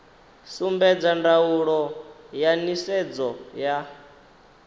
sumbedza ndaulo ya nisedzo ya